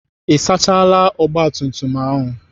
Ị sachaala ogbatumtum ahụ?